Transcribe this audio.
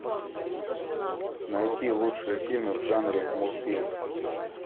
найти лучшие фильмы в жанре мультфильм